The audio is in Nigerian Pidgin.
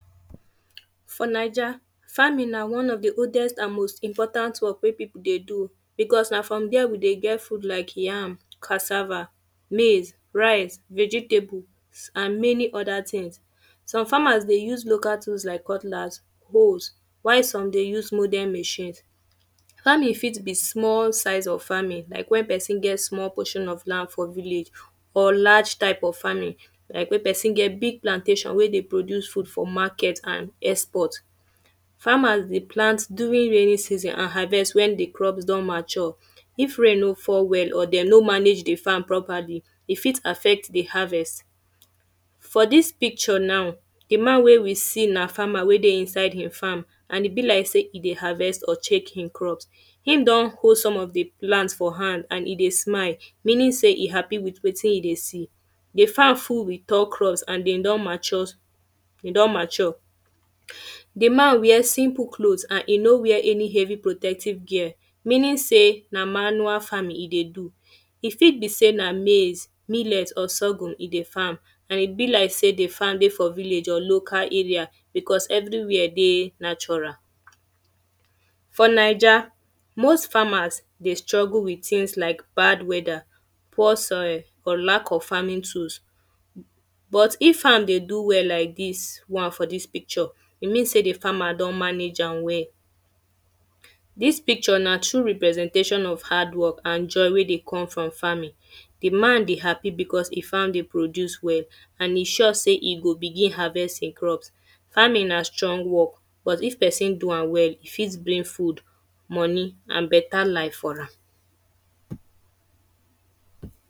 For Naija farming na one of the oldest and most important work wey people dey do because na for dere we dey get food like yam, cassava, maize, rice, vegetables and many other things. So farmers dey use local things like cutlass, hoes while some dey use modern machine. Farming fit be small size of farming like when person get small portion of land for village or large type of farming or make person get big plantation wey dey produce food for market and export. Farmers dey plant during raining season and harvest when the crops don mature. If rain no fall well or dem no manage the farm properly, e fit affect the harvest. For dis picture now, the man wey we see na farmer wey dey inside im farm and e be like sey e dey harvest or check im crop. Im don hold some of the plant for hand and e dey smile. Meaning sey e happy with wetin him dey see. The farm full with okro and dem don mature. E don mature. The man wear simple cloth and e no wear any heavy protective gear. Meaning sey na manual farming e dey do. E fit be sey na maize, millet or sorghum e dey farm. And e be like sey the farm dey for village or local area because everywhere dey natural. For Naija, most farmers dey struggle with things like bad weather, poor soil or lack of farming tools. But if farm dey do well like dis, one for dis picture, e mean sey the farmer don manage am well. Dis picture na true representation of hard work and joy wey dey come from farming. The man dey happy because e farm dey produce well and e sure sey e go begin harvest e crops. Farming na strong work but if person do am well, e fit bring food, money and better life for am.